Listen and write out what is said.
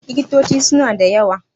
Likitoci suna da wayo.